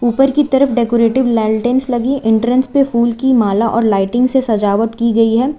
ऊपर की तरफ डेकोरेटिव लालटेन्स लगी एंट्रेंस पे फूल की माला और लाइटिंग से सजावट की गई है।